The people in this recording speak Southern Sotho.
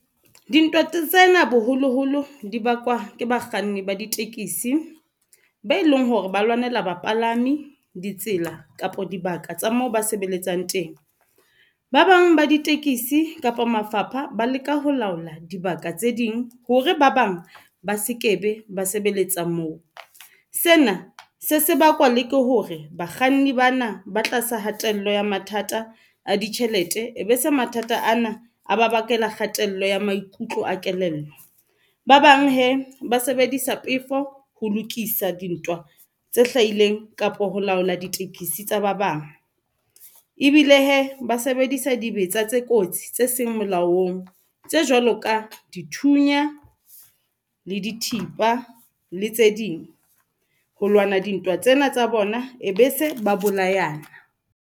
Dintwa tsena boholoholo di bakwa ke bakganni ba ditekisi be e leng hore ba lwanela bapalami, ditsela kapa dibaka tsa moo ba sebeletsang teng, ba bang ba ditekisi kapa mafapha ba leka ho laola dibaka tse ding hore ba bang ba sekebe ba sebeletsa moo. Sena se se bakwa le ke hore bakganni bana ba tlasa hatello ya mathata a ditjhelete e be se mathata ana a ba bakela kgatello ya maikutlo a kelello. Ba bang hee ba sebedisa pefo ho lokisa dintwa tse hlahileng kapo ho laola ditekesi tsa ba bang, ebile hee ba sebedisa dibetsa tse kotsi tse e seng molaong tse jwalo ka dithunya, le dithipa le tse ding, ho lwana dintwa tsena tsa bona e be se ba bolayana.